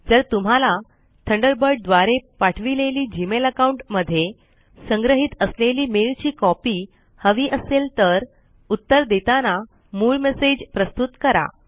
जर तुम्हाला थंडरबर्ड द्वारे पाठविलेली जीमेल अकाउंट मध्ये संग्रहित असलेली मेल ची कॉपी हवी असेल तर उत्तर देताना मूळ मेसेज प्रस्तुत करा